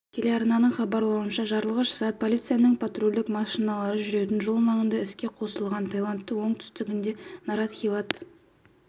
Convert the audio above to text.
телеарнасының хабарлауынша жарылғыш зат полицияның патрульдік машиналары жүретін жол маңында іске қосылған оқиға тайландтың оңтүстігіндегі наратхиват